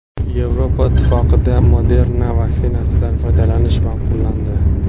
Yevropa Ittifoqida Moderna vaksinasidan foydalanish ma’qullandi.